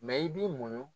Mɛ i b'i muɲu